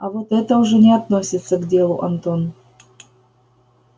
а вот это уже не относится к делу антон